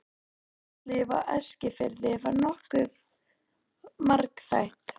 Félagslíf á Eskifirði var nokkuð margþætt.